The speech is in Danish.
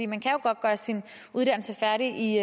man kan jo godt gøre sin uddannelse færdig